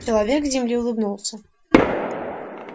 человек с земли улыбнулся